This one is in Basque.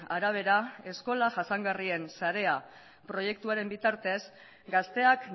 arabera eskola jasangarrien sarea proiektuaren bitartez gazteak